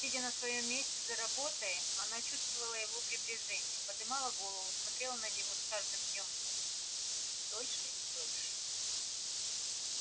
сидя на своём месте за работой она чувствовала его приближение подымала голову смотрела на него с каждым днём долее и долее